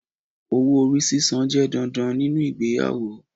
Owó-orí sísan jẹ́ dandan ninú ìgbéyàwó